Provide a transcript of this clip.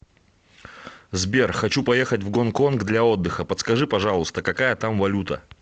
сбер хочу поехать в гонконг для отдыха подскажи пожалуйста какая там валюта